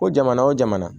Ko jamana o jamana